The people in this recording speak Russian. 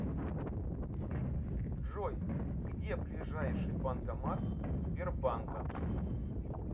джой где ближайший банкомат сбербанка